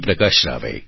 પ્રકાશ રાવે